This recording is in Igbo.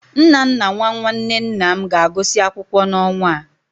Nnanna nwa nwanne nna m ga-agụsị akwụkwọ n'ọnwa a.